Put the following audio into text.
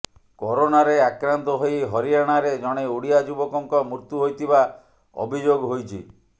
କରୋନାରେ ଆକ୍ରାନ୍ତ ହୋଇ ହରିୟାଣାରେ ଜଣେ ଓଡ଼ିଆ ଯୁବକଙ୍କ ମୃତ୍ୟୁ ହୋଇଥିବା ଅଭିଯୋଗ ହୋଇଛି